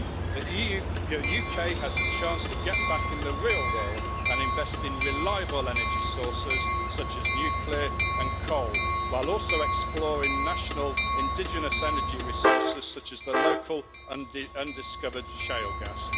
The UK has a chance to get back in the real world and invest in reliable energy sources such as nuclear and coal, while also exploring national indigenous energy resources such as the local undiscovered shale gas.